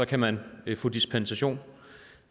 kan man få dispensation